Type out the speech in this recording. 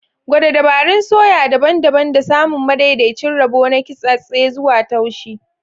Gwada dabarun soya daban-daban don samun madaidaicin rabo na kintsattse zuwa taushi.